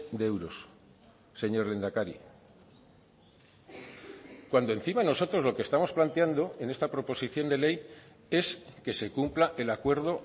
de euros señor lehendakari cuando encima nosotros lo que estamos planteando en esta proposición de ley es que se cumpla el acuerdo